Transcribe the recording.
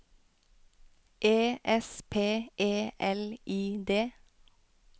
E S P E L I D